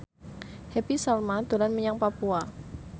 Happy Salma dolan menyang Papua